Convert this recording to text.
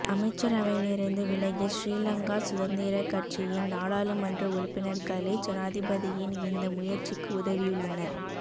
அமைச்சரவையிலிருந்து விலகிய ஸ்ரீலங்கா சுதந்திரக்கட்சியின் நாடாளுமன்ற உறுப்பினர்களே ஜனாதிபதியின் இந்த முயற்சிக்கு உதவியுள்ளனர்